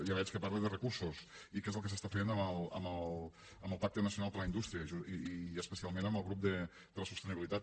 ja veig que parla de recursos i què és el que s’està fent amb el pacte nacional per a la indústria i especialment amb el grup de la sostenibilitat